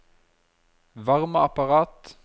varmeapparat